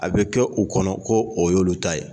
A bɛ kɛ u kɔnɔ ko o y'olu ta ye